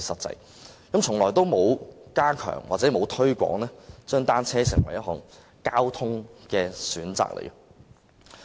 政府從來沒有加強或推廣將單車作為一項交通工具的選擇。